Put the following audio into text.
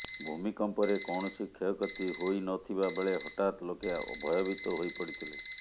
ଭୂମିକମ୍ପରେ କୌଣସି କ୍ଷୟକ୍ଷତି ହୋଇନଥିବା ବେଳେ ହଠାତ୍ ଲୋକେ ଭୟଭିତ ହୋଇପଡିଥିଲେ